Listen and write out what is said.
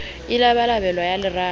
e labalabelwang ya lerato ya